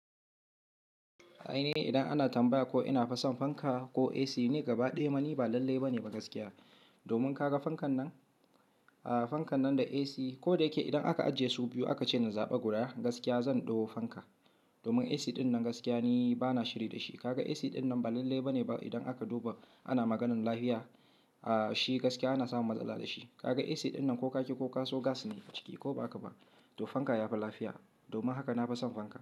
Ai ne idan ana tambaya ko ina fason fanka ko AC, ni gaba ɗaya mani ba lalle ba ne ba gaskiya. Domin kaga fankan nan, fankan nan da AC ko da yake idan aka ajiye su biyu aka ce na zaɓa guda, gaskiya zan ɗauko fanka. Domin AC ɗin nan gaskiya ni bana shiri da shi. Kaga AC ɗin nan ba lalle ba ne ba idan aka duba ana maganin lafiya, ah shi gaskiya ana samun matsala da shi. Kaga AC ɗin nan ko kaki ko kaso gas ne a ciki ko ba haka ba, to fanka yafi lafiya. Domin haka na fason fanka.